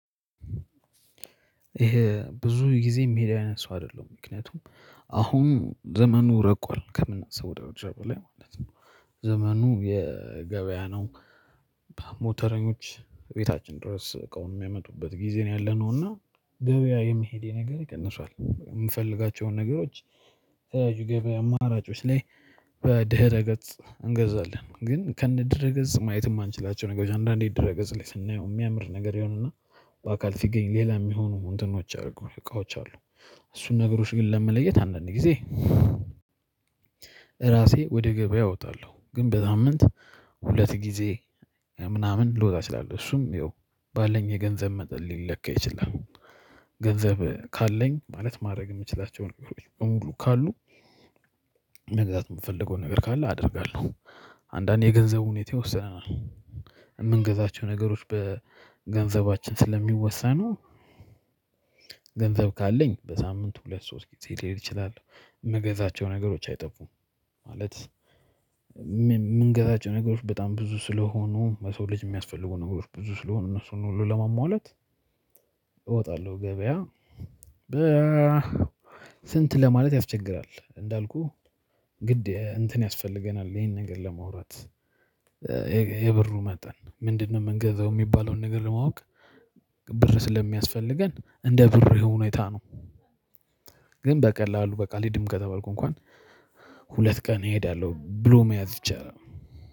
ይሄ ብዙ ጊዜ የሚሄድ አይነት ሰው አይደለሁም ምክንያቱም አሁን ዘመኑ ረቋል ከምናስበው ደረጃ በላይ ማለት ነው። ዘመኑ የገበያ ነው። በሞተረኞች እቤታችን ድረስ እቃውን የሚያመጡበት ጊዜ ነው ያለነው እና ገበያ የመሄድ የነገሬ ቀንሷል የምፈልጋቸውን ነገሮች። አማራጮች ላይ በድህረ ገጽ እንገዛለን። ግን ከነ ድህረ ገጽ ማየት የማንችላቸው ነገሮች አንዳንዴ ድህረ ገጽ ላይ ስናየው የሚያምር ነገር ይሆንና በአካል ሲገኝ ሌላ የሚሆኑ እንትኖች አሉ እቃዎች አሉ። እሱን ነገሮች ግን ለመለየት አንዳንዴ ጊዜ። ራሴ ወደ ገበያ እወጣለሁ ግን በሳምንት ሁለት ጊዜ ምናምን ልወጣ እችላለሁ እሱም ያው ባለኝ የገንዘብ መጠን ሊለካ ይችላል። ገንዘብ ካለኝ ማለት ማድረግ የምችላቸውን ነገሮች በሙሉ ካሉ። መግዛት የምፈልገው ነገር ካለ አደርጋለሁ። አንዳንዴ የገንዘቡ ሁኔታ ይወስነናል። የምንገዛቸው ነገሮች በገንዘባችን ስለሚወሰኑ። ገንዘብ ካለኝ በሳምንት ሁለት ሶስት ጊዜ ሊሄድ እችላለሁ የምገዛቸው ነገሮች አይጠፉም። ማለት የምንገዛቸው ነገሮች በጣም ብዙ ስለሆኑ ለሰው ልጅ የሚያስፈልጉ ነገሮች ብዙ ስለሆኑ እነሱን ሁሉ ለማሟላት። እወጣለሁ ገበያ በ ስንት ለማለት ያስቸግራል። እንዳልኩህ ግድ እንትን ያስፈልገናል ይሄን ነገር ለማውራት። የብሩ መጠን ምንድነው? የምንገዛው የሚባለውን ነገር ለማወቅ ብር ስለሚያስፈልገን እንደ ብሩ ሁኔታ ነው። ግን በቀላሉ በቃ አልሄደም ከተባልኩ እንኳን ሁለት ቀን እሄዳለሁ ብሎ መያዝ ይቻላል።